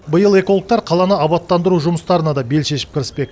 биыл экологтар қаланы абаттандыру жұмыстарына да бел шешіп кіріспек